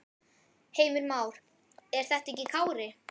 Heimir Már: Er það ekki Kári?